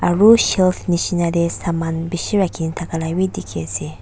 aru shelf nishi na te saman bishi rakhi ne thaka labi dikhi ase.